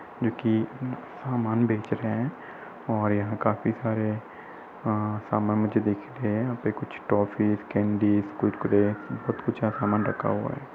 जोकि सामान बेच रहे हैं और यहाँ खाफी सारे अ सामान मुझे देखने है। यहाँ कुछ टॉफी कैंडी कुरकुरे बहुत कुछ सामान रखा हुआ है।